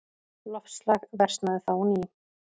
Loftslag versnaði þá á ný.